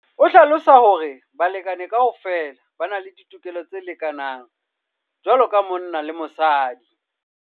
o hlalosa hore balekane kaofela ba na le ditokelo tse lekanang jwalo ka monna le mosadi.